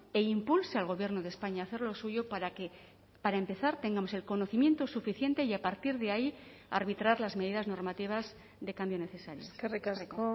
e impulse al gobierno de españa a hacer lo suyo para que para empezar tengamos el conocimiento suficiente y a partir de ahí a arbitrar las medidas normativas de cambio necesario eskerrik asko